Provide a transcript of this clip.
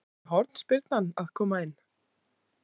Átti hornspyrnan að koma inn?